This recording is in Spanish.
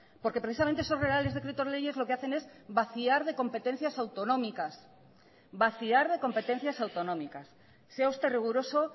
porque precisamente esos reales decretos leyes lo que hacen es vaciar de competencias autonómicas vaciar de competencias autonómicas sea usted riguroso